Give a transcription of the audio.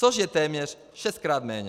Což je téměř šestkrát méně.